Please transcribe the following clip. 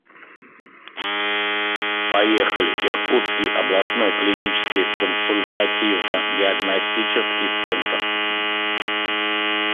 поехали иркутский областной клинический консультативно диагностический центр